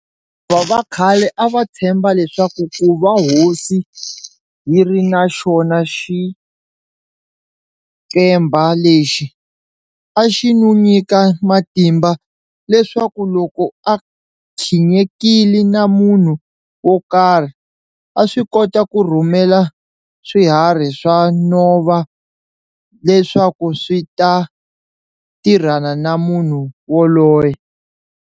Lava va khale a va tshemba leswaku kuva hosi yi ri na xona xicemba lexi, a xi n'wu nyika matimba, leswaku loko a khinyekili na munhu wo karhi, a swi kota ku rhumela swiharhi swa nhova leswaku swi ta tirhana na munhu woloye.